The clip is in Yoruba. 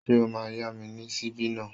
Ṣé o máa yá mi ní ṣíbí náà?